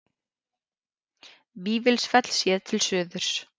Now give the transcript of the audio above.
Vífilsfell séð til suðurs.